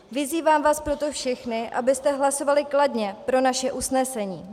Vyzývám vás proto všechny, abyste hlasovali kladně pro naše usnesení.